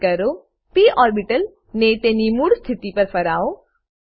પર ક્લિક કરો p orbital ને તેની મૂળ સ્થિતિ પર ફરાવો